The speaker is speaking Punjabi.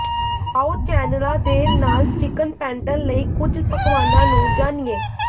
ਆਓ ਚੈਨਲਾਂ ਦੇ ਨਾਲ ਚਿਕਨ ਪੈਂਟਲ ਲਈ ਕੁੱਝ ਪਕਵਾਨਾਂ ਨੂੰ ਜਾਣੀਏ